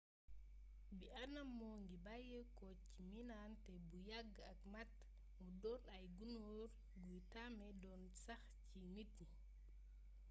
bii anam moo ngi bàyyeekoo ca miinaante bu yàgg ak màt mu doon ay gunóor yuy tame doon sax ci nit yi